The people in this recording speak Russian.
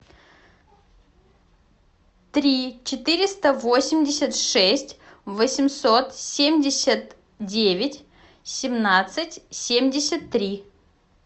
три четыреста восемьдесят шесть восемьсот семьдесят девять семнадцать семьдесят три